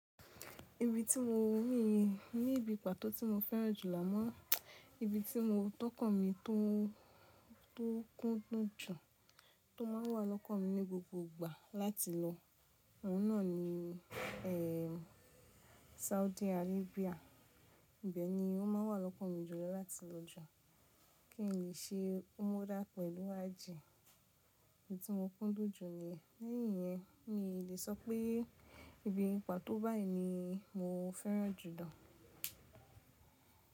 Ibi tí mo mí ní ibi pàtó tí mo fẹ́ràn jùlọ mọ́, ibi tí mo tọ́kàn mi tó kúndùn jù tó má ń wà lọ́kàn mi ní gbogbo ìgbà láti lọ, ọ̀ún náà ni e, Saudi Arabia. Bẹ̀ ni ó má ń wà lọ́kàn mi jùlọ láti lọ jọ̀, kí n lè ṣe umra pẹ̀lú àjè. Ibi tí mo kúndùn jù niyen Lẹ́yìn yẹn, mi lè sọ pé ibi pàtó báyìí ni mo fẹ́ràn jù dọ́.